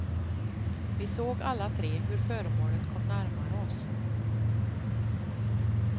Vi såg alla tre hur föremålet kom närmare oss.